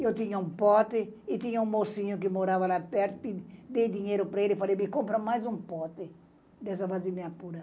Eu tinha um pote e tinha um mocinho que morava lá perto, dei dinheiro para ele e falei, me compra mais um pote dessa vasilina pura.